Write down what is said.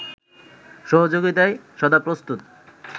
সহযোগিতায় সদাপ্রস্তুত